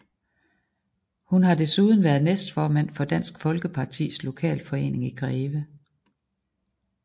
Hun har desuden været næstformand for Dansk Folkepartis lokalforening i Greve